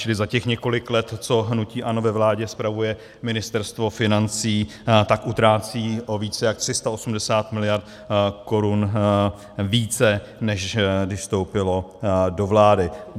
Čili za těch několik let, co hnutí ANO ve vládě spravuje Ministerstvo financí, tak utrácí o více jak 380 mld. korun více, než když vstoupilo do vlády.